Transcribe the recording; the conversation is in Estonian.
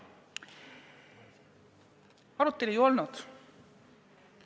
Arutelu ei olnud.